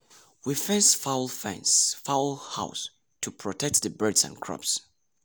we fence fowl fence fowl house to protect the birds and crops